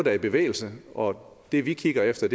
er i bevægelse og det vi kigger efter